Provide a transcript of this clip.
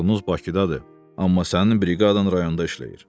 Kontorunuz Bakıdadır, amma sənin briqadan rayonda işləyir.